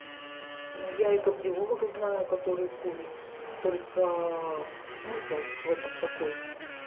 ну я и кардиолога знаю который курит только смысл в этом какой